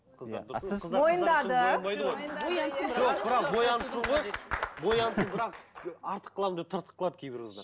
мойындады бірақ артық қыламын деп тыртық қылады кейбір қыздар